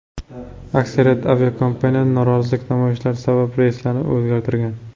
Aksariyat aviakompaniyalar norozilik namoyishlari sabab reyslarini o‘zgartirgan.